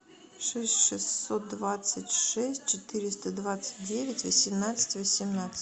шесть шестьсот двадцать шесть четыреста двадцать девять восемнадцать восемнадцать